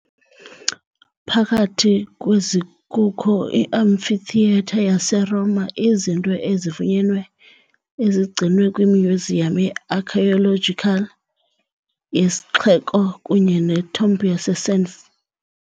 Phakathi kwezi kukho iAmphitheatre yaseRoma, izinto ezifunyenweyo ezigcinwe kwimyuziyam ye-archaeological yesixeko kunye neTomb yaseSanf